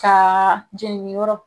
Ka jenini yɔrɔ